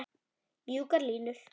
Mjúkar línur.